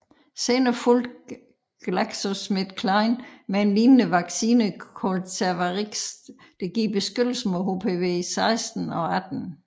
Senere fulgte GlaxoSmithKline med en lignende vaccine kaldet Cervarix der giver beskyttelse mod HPV 16 og 18